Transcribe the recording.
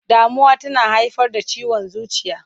Damuwa tana haifar da ciwon zuciya.